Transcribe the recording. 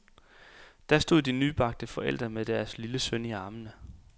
Der stod de nybagte forældre med deres lille søn i armene.